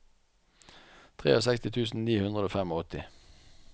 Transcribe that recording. sekstitre tusen ni hundre og åttifem